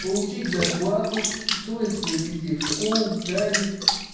получить зарплату устроить своих детей в школу в садик